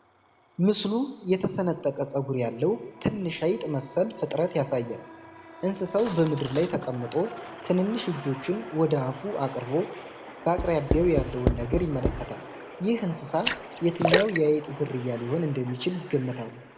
ምስሉ የተሰነጠቀ ፀጉር ያለው ትንሽ አይጥ መሰል ፍጥረት ያሳያል። እንስሳው በምድር ላይ ተቀምጦ፣ ትንንሽ እጆቹን ወደ አፉ አቅርቦ፣ በአቅራቢያው ያለውን ነገር ይመለከታል። ይህ እንስሳ የትኛው የአይጥ ዝርያ ሊሆን እንደሚችል ይገምታሉ?